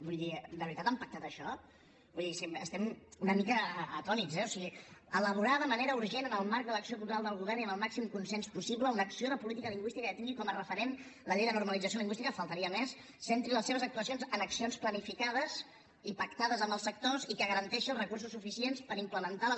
vull dir de veritat han pactat això vull dir estem una mica atònits eh o sigui elaborar de manera urgent en el marc de l’acció cultural del govern i amb el màxim consens possible una acció de política lingüística que tingui com a referent la llei de normalització lingüística només faltaria centri les seves actuacions en accions planificades i pactades amb els sectors i que garanteixi els recursos suficients per implementar les